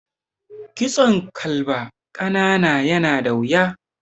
Kitson kalba ƙanana yana da wuya.